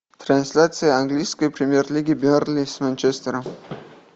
трансляция английской премьер лиги бернли с манчестером